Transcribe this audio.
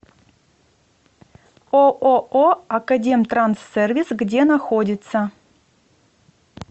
ооо академтранссервис где находится